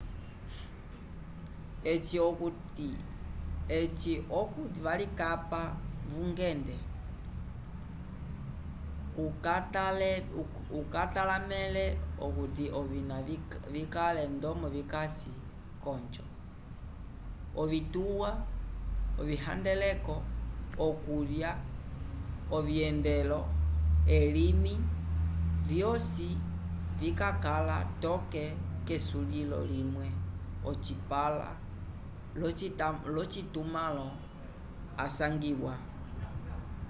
eci okuti valikapa vungende ukatalamẽle okuti ovina vikale ndomo vikasi k'onjo ovituwa ovihandeleko okulya ovyendelo elimi vyosi vikakala toke k'esulilo limwe ocipãla l'ocitumãlo asangiwa